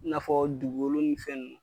I nafɔ dugukolo ni fɛn